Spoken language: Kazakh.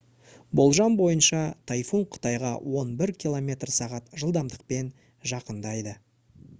болжам бойынша тайфун қытайға он бір км/сағ жылдамдықпен жақындайды